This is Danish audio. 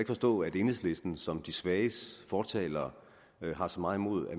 forstå at enhedslisten som de svages fortalere har så meget imod